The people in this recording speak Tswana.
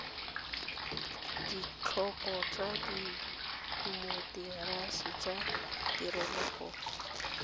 ditlhopho tsa temokerasi tsa ditokololo